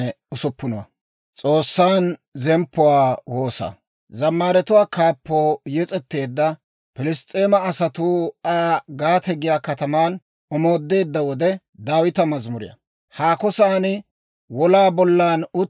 Abeet S'oossaw, asatuu taana yederssiyaa dirawunne gallassaa ubbankka ta morkketuu taana un"etseedda diraw, taw k'aretta.